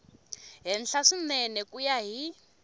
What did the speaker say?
henhla swinene ku ya hi